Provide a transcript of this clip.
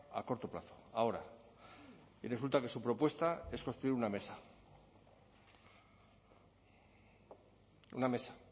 a corto plazo ahora y resulta que su propuesta es construir una mesa una mesa